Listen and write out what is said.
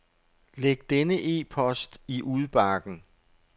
Læg denne e-post i udbakken.